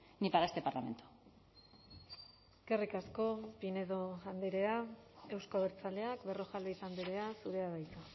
ni para este parlamento eskerrik asko pinedo andrea euzko abertzaleak berrojalbiz andrea zurea da hitza